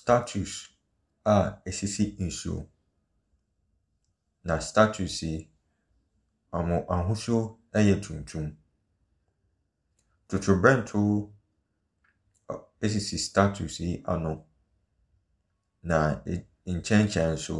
Statutes a esisi nsuo mu. Na statutes yi, wɔn ahosuo yɛ tuntum. Trotrobɛntoo esisi statutes yi ano na nkyɛnkyɛn nso